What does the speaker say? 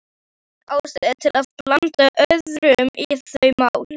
Engin ástæða til að blanda öðrum í þau mál.